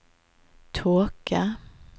tåke